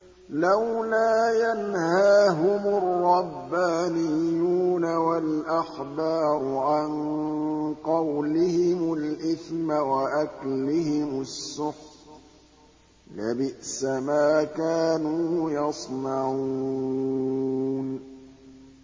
لَوْلَا يَنْهَاهُمُ الرَّبَّانِيُّونَ وَالْأَحْبَارُ عَن قَوْلِهِمُ الْإِثْمَ وَأَكْلِهِمُ السُّحْتَ ۚ لَبِئْسَ مَا كَانُوا يَصْنَعُونَ